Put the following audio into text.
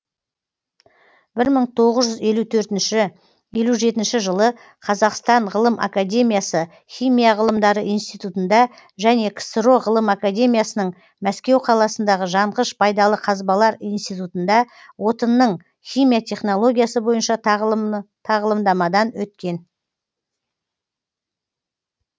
бір мың тоғыз жүз елу төртінші елу жетінші жылы қазақстан ғылым академиясы химия ғылымдары институтында және ксро ғылым академиясының мәскеу қаласындағы жанғыш пайдалы қазбалар институтында отынның химия технологиясы бойынша тағылымдамадан өткен